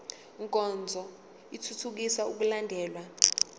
nkonzo ithuthukisa ukulandelwa